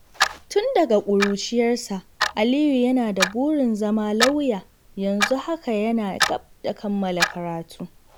Tun daga ƙuruciyarsa, Aliyu yana da burin zama lauya, yanzu haka yana gab da kammala karatu.